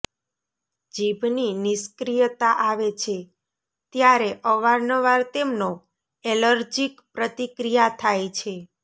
જીભની નિષ્ક્રિયતા આવે છે ત્યારે અવારનવાર તેમનો એલર્જીક પ્રતિક્રિયા થાય છે